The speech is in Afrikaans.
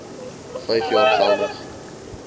vyf jaar geldig